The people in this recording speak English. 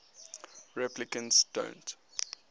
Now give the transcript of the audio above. replicants don't